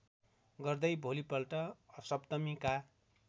गर्दै भोलिपल्ट सप्तमीका